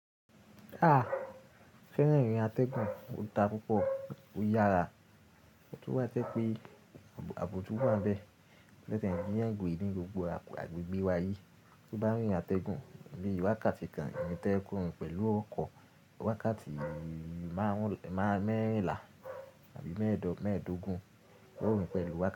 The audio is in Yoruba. A, ṣé lẹ rí atẹgun? O dá púpọ̀, ó yára, ọ̀ tun wá tẹ́ pé àbo to wà bẹ́ẹ̀ lẹ́tí ẹni yàn gbi ní gbogbo agbègbè wa yíi. Tí o bá rí atẹgun bíi wákàtí kan ìrìn tí ẹ kó n pẹ̀lú ọkọ̀, wákàtí máa ń mẹ́ẹ̀la àbí mẹ́ẹ̀ẹ́dógún ni o rí n pẹ̀lú wa.